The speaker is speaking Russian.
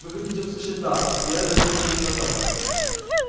вы хотите услышать да и эрби ответил именно так